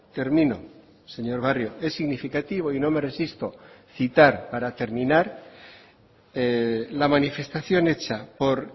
termino señor barrio es significativo y no me resisto citar para terminar la manifestación hecha por